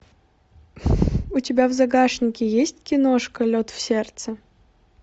у тебя в загашнике есть киношка лед в сердце